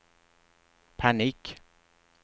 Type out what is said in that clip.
panik